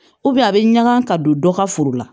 a bɛ ɲaga ka don dɔ ka foro la